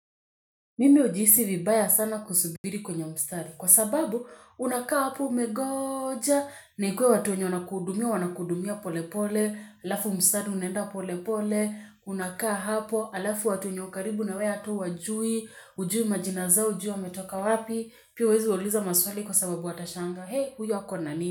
Mimi hujihisi vibaya sana kusubiri kwenye mstari kwa sababu unakaa hapo umengoja na ikuwe watu wenye wanakuhudumia, wanakuhudumia polpole, alafu mstari unaenda polepole, unakaa hapo, alafu watu wenye wako karibu na wewe hata huwajui, hujui majina zao hujui wametoka wapi, pia huwezi wauliza maswali kwa sababu watashangaa, he huyu ako na nani?